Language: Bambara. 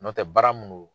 N'o tɛ baara minnu don